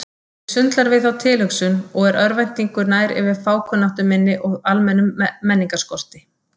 Mig sundlar við þá tilhugsun og er örvæntingu nær yfir fákunnáttu minni og almennum menningarskorti.